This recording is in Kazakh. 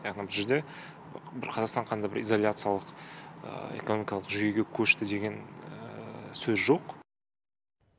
яғни бұл жерде бір қазақстан қандай да бір изоляциялық экономикалық жүйеге көшті деген сөз жоқ